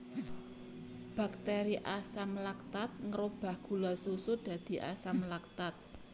Bakteri Asam laktat ngrobah gula susu dadi asam laktat